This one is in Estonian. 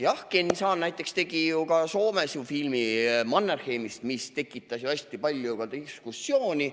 Jah, Ken Saan näiteks tegi ju ka Soomes filmi Mannerheimist, mis tekitas hästi palju diskussiooni.